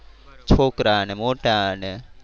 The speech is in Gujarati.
છોકરા ને મોટા ને